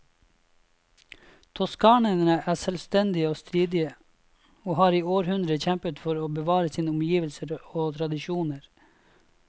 Toskanerne er selvstendige og stridige, og har i århundrer kjempet for å bevare sine omgivelser og tradisjoner.